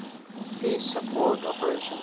peace support operations